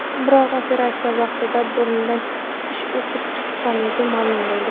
Biroq operatsiya vaqtida burundan tish o‘sib chiqqanligi ma’lum bo‘ldi.